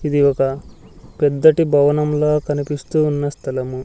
ఇది ఒక పెద్దటి భవనం లా కనిపిస్తూ ఉన్న స్థలము.